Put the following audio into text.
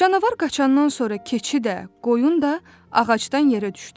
Canavar qaçandan sonra keçi də, qoyun da ağacdan yerə düşdü.